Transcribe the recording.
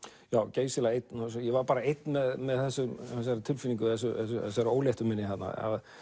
geysilega einn og ég var bara einn með þessari tilfinningu þessari óléttu minni þarna